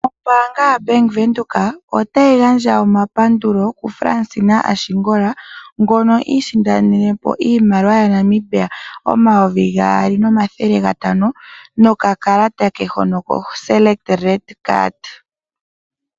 Ombaanga yo Bank Windhoek otayi gandja oma pandulo ku Fransina Ashingola, ngono iisinda nene po iimaliwa ya Namibia 2500, noka kalata ke hono ko " Selekt Red card".